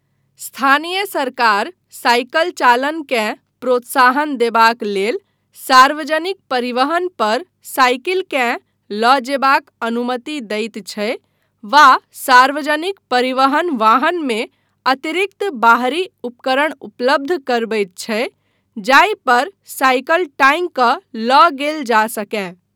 स्थानीय सरकार साइकिल चालनकेँ प्रोत्साहन देबाक लेल सार्वजनिक परिवहन पर साइकिलकेँ लऽ जेबाक अनुमति दैत छै वा सार्वजनिक परिवहन वाहनमे अतिरिक्त बाहरी उपकरण उपलब्ध करबैत छै जाहि पर साइकिल टाँगि कऽ लऽ गेल जा सकय।